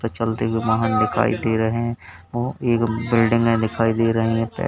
कुछ चलते हुए वाहन दिखाई दे रहे है व एक बिल्डिंगे दिखाई दे रही हैं।